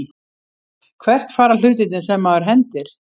Hvert fara hlutirnir sem maður hendir?